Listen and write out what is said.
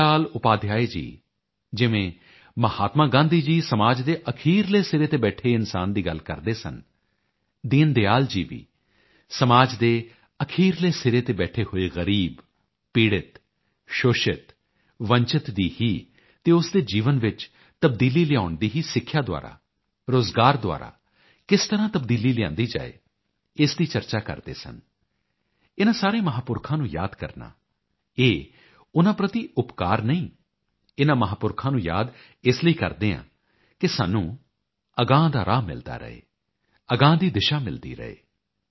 ਦੀਨ ਦਿਆਲ ਉਪਾਧਿਆਏ ਜੀ ਜਿਵੇਂ ਮਹਾਤਮਾ ਗਾਂਧੀ ਸਮਾਜ ਦੇ ਅਖੀਰਲੇ ਸਿਰੇ ਤੇ ਬੈਠੇ ਇਨਸਾਨ ਦੀ ਗੱਲ ਕਰਦੇ ਸਨ ਦੀਨ ਦਿਆਲ ਜੀ ਵੀ ਸਮਾਜ ਦੇ ਅਖੀਰਲੇ ਸਿਰੇ ਤੇ ਬੈਠੇ ਹੋਏ ਗਰੀਬ ਪੀੜਤ ਸ਼ੋਸ਼ਿਤ ਵੰਚਿਤ ਦੀ ਹੀ ਅਤੇ ਉਸ ਦੇ ਜੀਵਨ ਵਿੱਚ ਤਬਦੀਲੀ ਲਿਆਉਣ ਦੀਸਿੱਖਿਆ ਦੁਆਰਾ ਰੋਜ਼ਗਾਰ ਦੁਆਰਾ ਕਿਸ ਤਰਾਂ ਤਬਦੀਲੀ ਲਿਆਂਦੀ ਜਾਏ ਇਸ ਦੀ ਚਰਚਾ ਕਰਦੇ ਸਨ ਇਨਾਂ ਸਾਰੇ ਮਹਾਪੁਰਖਾਂ ਨੂੰ ਯਾਦ ਕਰਨਾ ਇਹ ਉਨ੍ਹਾਂ ਪ੍ਰਤੀ ਉਪਕਾਰ ਨਹੀਂ ਇਨਾਂ ਮਹਾਪੁਰਖਾਂ ਨੂੰ ਯਾਦ ਇਸ ਲਈ ਕਰਦੇ ਹਾਂ ਕਿ ਸਾਨੂੰ ਅਗਾਂਹ ਦਾ ਰਾਹ ਮਿਲਦਾ ਰਹੇ ਅਗਾਂਹ ਦੀ ਦਿਸ਼ਾ ਮਿਲਦੀ ਰਹੇ